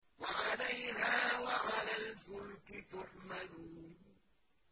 وَعَلَيْهَا وَعَلَى الْفُلْكِ تُحْمَلُونَ